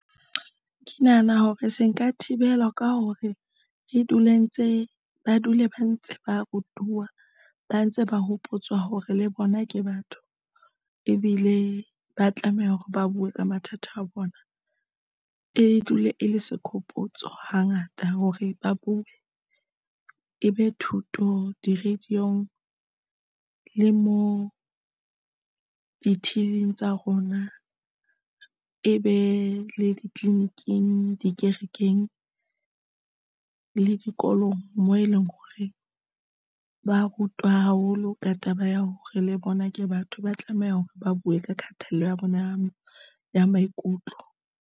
Ke nahana hore se ka thibelwa ka hore re dule ntse ba dule ba ntse ba rutuwa, ba ntse ba hopotswa hore le bona ke batho, ebile ba tlameha hore ba buwe ka mathata a bona. E dule e le sehopotso hangata hore ba buwe e be thuto di-radio-ng le moo di-till-ing tsa rona e be le ditleliniking le dikerekeng le dikolong moo e leng hore ba rutwa haholo ka taba ya hore le bona ke batho, ba tlameha hore ba buwe ka kgatello ya bona ya maikutlo.